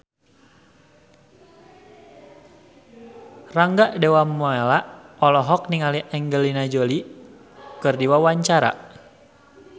Rangga Dewamoela olohok ningali Angelina Jolie keur diwawancara